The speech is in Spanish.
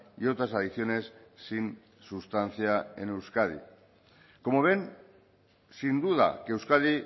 y otras adicciones sin sustancia en euskadi como ven sin duda que euskadi